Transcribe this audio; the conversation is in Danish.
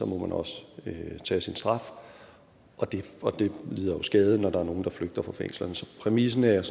må man også tage sin straf og det lider jo skade når der er nogle der flygter fra fængslerne så præmissen er jeg